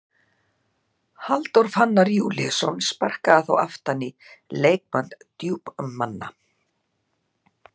Halldór Fannar Júlíusson sparkaði þá aftan í leikmann Djúpmanna.